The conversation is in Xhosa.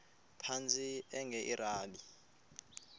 phantsi enge lrabi